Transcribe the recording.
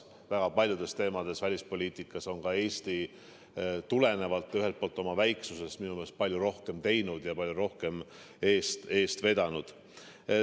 Väga paljudes teemades välispoliitikas on Eesti – minu meelest tulenevalt ka oma väiksusest – palju rohkem teinud ja palju rohkem eest eest vedanud.